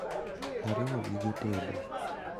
ariwo gige tedo